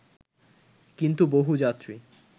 কিন্তু বহু যাত্রী